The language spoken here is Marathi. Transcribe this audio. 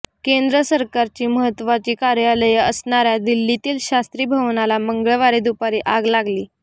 केंद्र सरकारची महत्त्वाची कार्यालये असणाऱया दिल्लीतील शास्त्री भवनला मंगळवारी दुपारी आग लागली